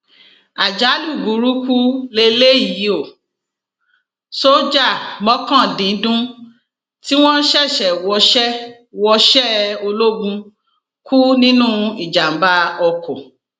àjálù burúkú lélẹyìí ò sójà mọkàndíndún tí wọn ṣẹṣẹ wọṣẹ wọṣẹ ológun kù nínú ìjàmbá oko